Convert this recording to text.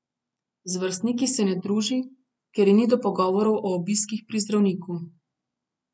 Z vrstniki se ne druži, ker ji ni do pogovorov o obiskih pri zdravniku.